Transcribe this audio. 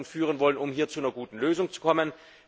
führen wollen, um hier zu einer guten Lösung zu kommen.